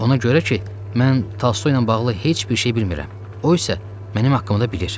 Ona görə ki, mən Tolstoyla bağlı heç bir şey bilmirəm, o isə mənim haqqımda bilir.